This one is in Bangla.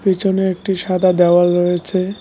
পিছনে একটা সাদা দেওয়াল রয়েছে।